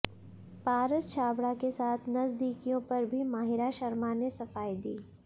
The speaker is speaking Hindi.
पारस छाबड़ा के साथ नजदिकियों पर भी माहिरा शर्मा ने सफाई दी